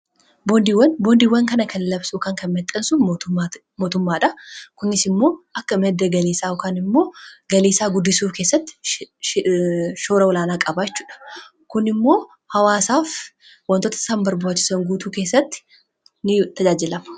Boondiiwwan kana kan labsu kan mexxansu mootummaadha. Kunis immoo akka madda galiii kaan immoo galii guddisuu keessatti shoora olaanaa qabaachuudha. Kun immoo hawaasaaf wantoota isaan barbaaachisan guutuu keessatti ni tajaajila.